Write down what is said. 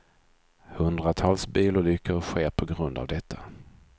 Hundratals bilolyckor sker på grund av detta.